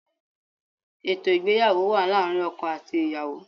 Ètò ìgbéyàwó wà láàrin ọkọ àti ìyàwó